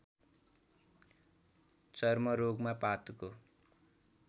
चर्मरोगमा पातको